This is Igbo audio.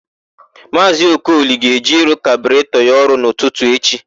Maazị Okoli ga-eje ịrụ kaburetọ ya ọrụ n'ụtụtụ echi.